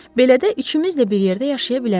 Belə də üçümüzlə bir yerdə yaşaya bilərik.